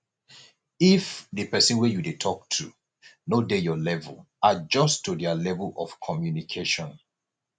if di person wey you dey talk to no dey your level adjust to their level of communication